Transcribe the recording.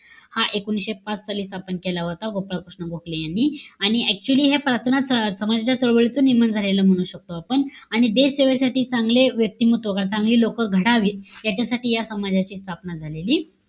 हा एकोणीशे पाच साली स्थपन केला होता. गोपाळ कृष्ण गोखले यांनी. आणि actually हे प्रार्थना स समाजाच्या चळवळीचं नियमन झालेलं म्हणू शकतो आपण. आणि देशसेवेसाठी चांगले व्यक्तिमत्व, चांगली लोकं घडावी, याच्यासाठी या समाजाची स्थापना झालेली,